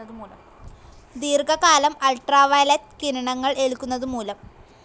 ദീർഘ കാലം അൾട്രാവയലറ്റ്‌ കിരണങ്ങൾ ഏൽക്കുന്നത് മൂലം.